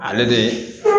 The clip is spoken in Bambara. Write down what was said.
Ale de